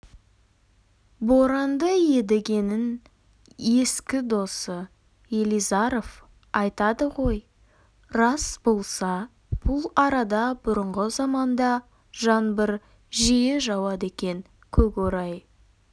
боранды едігенің ескі досы елизаров айтады ғой рас болса бұл арада бұрынғы заманда жаңбыр жиі жауады екен көкорай